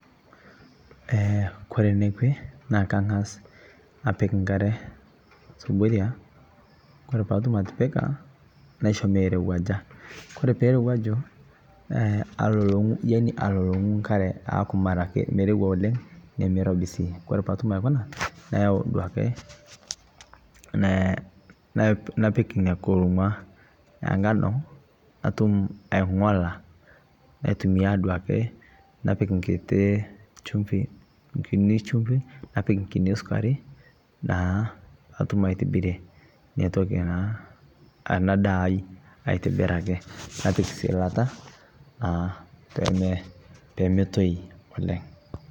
Eeh kore neekwee naa kaang'as apiik nkaare subuuria ore paa atuum atipikaa naishoo meerewuaja . Ore pee erewuaju aluong'uu yaani aluong'uu nkaare aaku meirouwa oleng nemee eiroobi sii. Kore paa atuum aaikonaa neeyau duake nee napiik enia nkuluung'aa enganoo natuum aing'olaa natumii duake napiik nkitii chumfii nkiini chumfii napiik nkinii sukari naa natuum aitibirire ana ntoki naa ena ndaa aitibiraki. Napiik si laata eeh pee motooi oleng.